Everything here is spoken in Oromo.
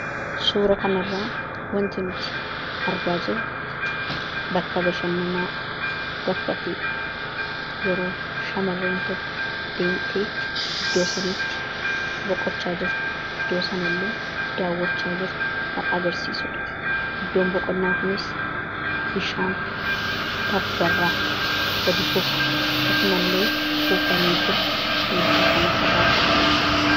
Suura kana irraa wanti nuti argaa jirru bakka bashannanaadha. Bakka kanas yeroo shamarreen tokko deemtee iddoo sanatti boqochaa jirtu iddoo sana illee daawwachaa jirtu kan agarsiisudha. Iddoon boqonnaa kunis bishaan tabba irraa gadi kufu, akkasuma illee kuufamee jiru argina.